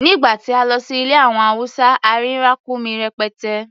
Nìgbà tí a lọ sí ilẹ̀ àwọn Hausa, a rí ràkúnmí rẹpẹtẹ.